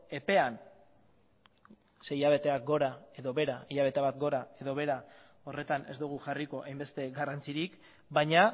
epean hilabete bat gora edo behera horretan ez dugu jarriko hainbeste garrantzirik baina